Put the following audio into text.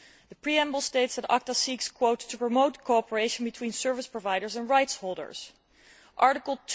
The preamble states that ACTA seeks to promote cooperation between service providers and rights holders'. Article